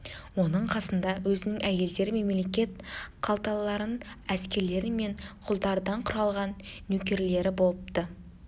оның қасында өзінің әйелдері мен мемлекет қалталыларын әскерлер мен құлдардан құралған нөкерлері болыпты